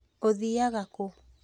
ũthiiaga ku?